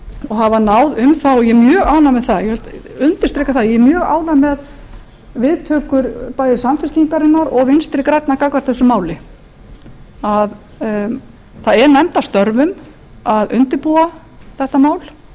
og hafa náð um það ég er mjög ánægð með það ég undirstrika það ég er mjög ánægð með viðtökur bæði samfylkingarinnar og vinstri grænna gagnvart þessu máli það er nefnd að störfum að undirbúa þetta mál